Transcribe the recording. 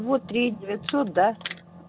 вот три девятьсот да